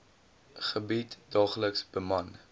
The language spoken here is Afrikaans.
gebied daagliks beman